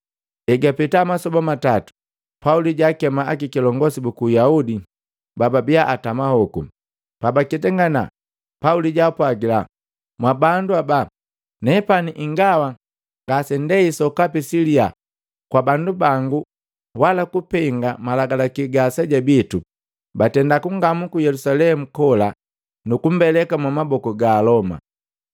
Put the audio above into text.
Egapeta masoba matatu, Pauli jaakema akilongosi buku Uyahudi bababiya atama hoku. Pabaketangana, Pauli jaapwagila, “Mwabandu aja, nepani ingawa ngasenatei sokapi siliya kwa bandu bangu wala kupenga malagalaki ga aseja bitu, batenda kungamuu ku Yelusalemu kola nukumbeleka mwamaboku ga Aloma.